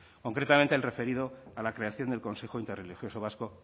concretamente el referido a la creación del consejo interreligioso vasco